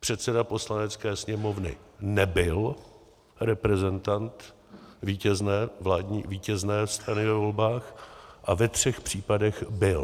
předseda Poslanecké sněmovny nebyl reprezentantem vítězné strany ve volbách a ve třech případech byl.